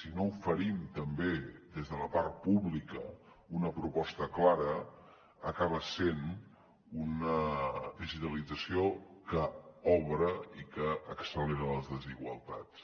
si no oferim també des de la part pública una proposta clara acaba sent una digitalització que obre i que accelera les desigualtats